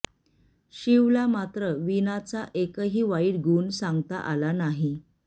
शिवला मात्र वीणाचा एकही वाईट गुण सांगता आला नाही